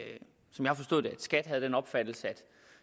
skat havde den opfattelse at